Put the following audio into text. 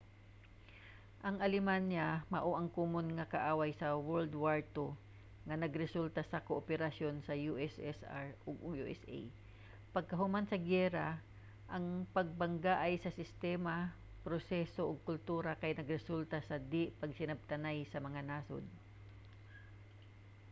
ang alemanya mao ang komon nga kaaway sa world war 2 nga nagresulta sa kooperasyon sa ussr ug usa. paghuman sa giyera ang pagbanggaay sa sistema proseso ug kultura kay nagresulta sa di-pagsinabtanay sa mga nasod